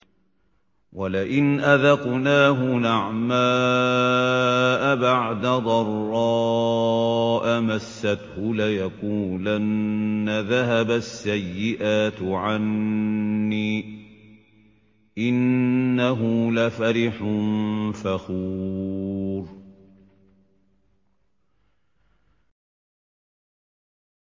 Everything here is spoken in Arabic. وَلَئِنْ أَذَقْنَاهُ نَعْمَاءَ بَعْدَ ضَرَّاءَ مَسَّتْهُ لَيَقُولَنَّ ذَهَبَ السَّيِّئَاتُ عَنِّي ۚ إِنَّهُ لَفَرِحٌ فَخُورٌ